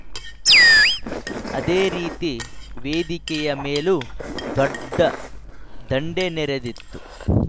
ಅದೇ ರೀತಿ ವೇದಿಕೆಯ ಮೇಲೂ ದೊಡ್ಡ ದಂಡೇ ನೆರೆದಿತ್ತು